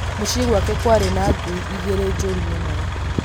Mũciĩ gwake kwarĩ na ngui igĩrĩ njũru mũno